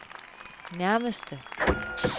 nærmeste